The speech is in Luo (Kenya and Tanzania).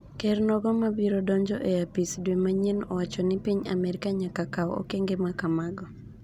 ker nogo mabiro donjo e apis dwe manyien owacho ni piny Amerka nyaka kawu okenge ma kamago,